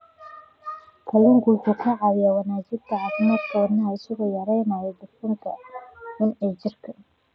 Kalluunku wuxuu caawiyaa wanaajinta caafimaadka wadnaha isagoo yareynaya dufanka xun ee jirka.